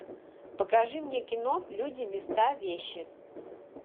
покажи мне кино люди места вещи